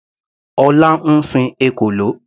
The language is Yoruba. Ọlá ń sin ekòló.